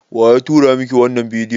Waya turo miki wannan bidiyon?